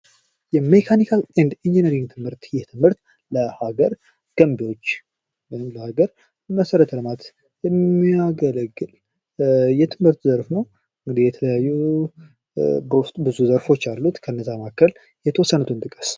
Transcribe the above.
የመካኒካል ኤንድ ኢንጅነሪንግ ትምህርት ይህ ትምህርት ለሀገር ገንቢዎች ወይም ለሀገር መሰረተ ልማት የሚያገለግል የትምህርት ዘርፍ ነው። የተለያዩ በውስጡ ብዙ ዘርፎች አሉት ከእነዛ መካከል የተወሰኑትን ጥቀስ?